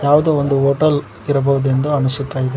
ಯಾವುದೋ ಒಂದು ಹೋಟೆಲ್ ಇರಬಹುದು ಎಂದು ಅನಿಸುತ್ತಾ ಇದೆ.